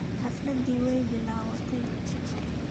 Xafladi waaibilawatey.